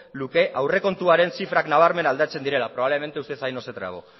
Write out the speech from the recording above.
luke aurrekontuaren zifrak nabarmen aldatzen direla probablemente usted ahí no se trabó